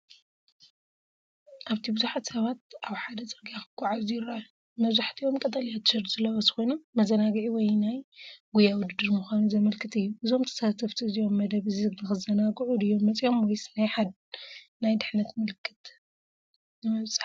ኣብቲ ብዙሓት ሰባት ኣብ ሓደ ጽርግያ ክጓዓዙ ይረኣዩ። መብዛሕትኦም ቀጠልያ ቲሸርት ዝለበሱ ኮይኖም፡ መዘናግዒ ወይ ናይ ጉያ ውድድር ምዃኑ ዘመልክት እዩ። እዞም ተሳተፍቲ እዚኦም መደብ እዚ ንኽዘናግዑ ድዮም መጺኦም ወይስ ናይ ድሕነት መልእኽቲ ንምብጻሕ?